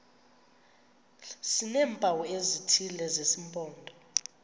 sineempawu ezithile zesimpondo